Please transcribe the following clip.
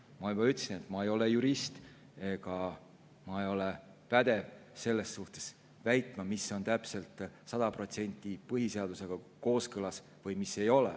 Ma juba ütlesin, et ma ei ole jurist ega ole pädev väitma, mis on täpselt sada protsenti põhiseadusega kooskõlas või mis ei ole.